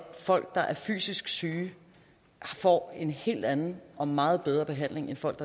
folk der er fysisk syge får en helt anden og meget bedre behandling end folk